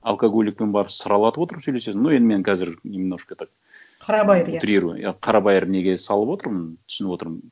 алкоголикпен барып сыралатып отырып сөйлесесің ну енді мен қазір немножко так қарабайыр иә утрирую иә қарабайыр неге салып отырмын түсініп отырмын